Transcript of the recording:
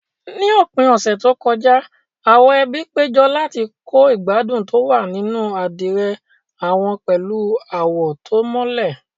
Ní òpin ọ̀sẹ̀ tó kọjá, àwọn ẹbí péjọ láti kọ́ ìgbádùn tó wà nínú àdìrẹ àwọn pẹ̀lú àwọ̀ tó mọ́lẹ̀.